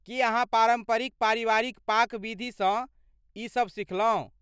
की अहाँ पारम्परिक पारिवारिक पाक विधिसँ ई सब सिखलहुँ?